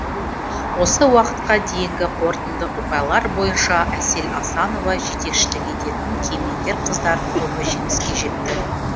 осы уақытқа дейінгі қорытынды ұпайлар бойынша әсел асанова жетекшілік ететін кемеңгер қыздардың тобы жеңіске жетті